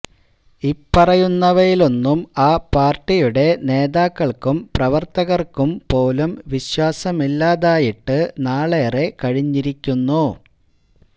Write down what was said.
ഇപ്പറയുന്നവയിലൊന്നും ആ പാര്ട്ടിയുടെ നേതാക്കള്ക്കും പ്രവര്ത്തകര്ക്കും പോലും വിശ്വാസമില്ലാതായിട്ട് നാളേറെ കഴിഞ്ഞിരിക്കുന്നു